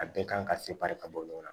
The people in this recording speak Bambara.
A bɛɛ kan ka sebaya ka bɔ ɲɔgɔn na